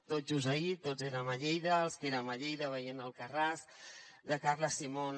tot just ahir tots érem a lleida els que érem a lleida veient alcarràs de carla simón